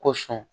Ko sɔn